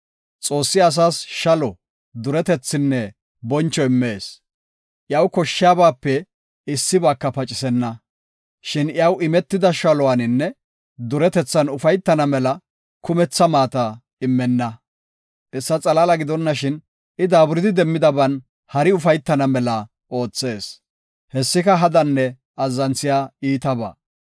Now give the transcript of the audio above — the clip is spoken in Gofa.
Xoossi asas shalo, duretethinne boncho immees; iyaw koshshiyabaape issibaaka pacisenna. Shin iyaw imetida shaluwaninne duretethan ufaytana mela kumetha maata immenna. Hessa xalaala gidonashin I daaburidi demmidaban hari ufaytana mela oothees; hessika hadanne azzanthiya iitabaa.